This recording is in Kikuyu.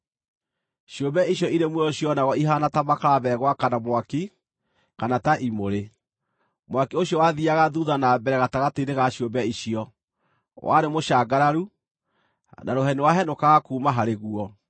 Ciũmbe icio irĩ muoyo cionagwo ihaana ta makara megwakana mwaki kana ta imũrĩ. Mwaki ũcio wathiiaga thuutha na mbere gatagatĩ-inĩ ga ciũmbe icio; warĩ mũcangararu, na rũheni rwahenũkaga kuuma harĩ guo.